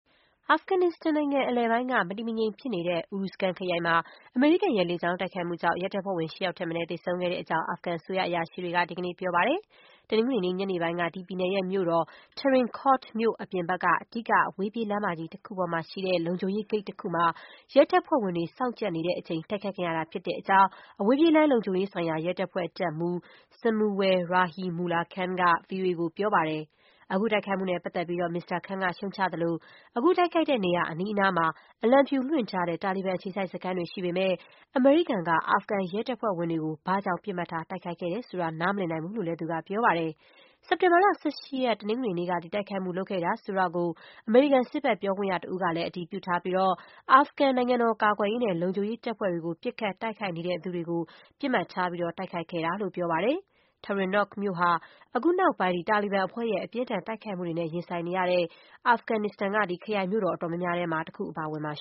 အာဖဂန်နစ္စတန်နိုင်ငံအလယ်ပိုင်းက မတည်မငြိမ်ဖြစ်နေတဲ့ Uruzgan ခရိုင်မှာ အမေရိကန်ရဲ့လေကြောင်းတိုက်ခိုက်မှုကြောင့် ရဲတပ်ဖွဲ့ဝင် ၈ ယောက်ထက်မနည်း သေဆုံးခဲ့တဲ့အကြောင်း အာဖဂန်အစိုးရအရာရှိတွေက ဒီကနေ့ ပြောပါတယ်။ တနင်္ဂနွေနေ့ ညနေပိုင်းက ဒီပြည်နယ်ရဲ့ မြို့တော် Tarin Kot မြို့ အပြင်ဘက်က အဓိက အဝေးပြေးလမ်းမကြီး တခုပေါ်မှာရှိတဲ့ လုံခြုံရေးဂိတ်တခုမှာ ရဲတပ်ဖွဲ့ဝင်တွေ စောင့်ကြပ်နေ တဲ့အချိန် တိုက်ခိုက်ခံရတာဖြစ်တဲ့အကြောင်း အဝေးပြေးလမ်းလုံခြုံရေးဆိုင်ရာ ရဲတပ်ဖွဲ့ တပ်မှူး Samunwal Rahimullah Khan က ဗွီအိုအေကို ပြောပါတယ်။ အခု တိုက်ခိုက်မှုနဲ့ပတ်သက်ပြီး မစ္စတာ Khan က ရှုတ်ချသလို၊ အခုတိုက်ခိုက်တဲ့နေရာ အနီးအနားမှာ အလံဖြူ လွှင့်ထားတဲ့ တာလီဘန် အခြေစိုက်စခန်းတွေ ရှိပေမဲ့ အမေရိကန်က အာဖဂန်ရဲတပ်ဖွဲ့ဝင်တွေကို ဘာကြောင့် ပစ်မှတ်ထား တိုက်ခိုက်တယ် ဆိုတာ နားမလည်နိုင်ဘူးလို့လည်း သူက ပြောပါတယ်။ စက်တင်ဘာ ၁၈ ရက် တနင်္ဂနွေနေ့က ဒီတိုက်ခိုက်မှု လုပ်ခဲ့တယ်ဆိုတာကို အမေရိကန်စစ်ဘက် ပြောခွင့်ရတဦးကလည်း အတည်ပြုထားပြီး အာဖဂန် နိုင်ငံတော်ကာကွယ်ရေးနဲ့ လုံခြုံရေးတပ်ဖွဲ့တွေကို ပစ်ခတ် တိုက်ခိုက် နေသူတွေကို ပစ်မှတ်ထား တိုက်ခိုက်ခဲ့တာလို့ ပြောပါတယ်။ Tarin Kot မြို့ဟာ အခုနောက်ပိုင်း တာလီဘန်အဖွဲ့ရဲ့ အပြင်းအထန် တိုက်ခိုက်မှုတွေနဲ့ ရင်ဆိုင်နေရတဲ့ အာဖဂန်ရဲ့ ခရိုင်မြို့တော် အတော်များများထဲမှာ ပါဝင်ပါတယ်။